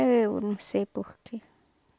Eu não sei por quê.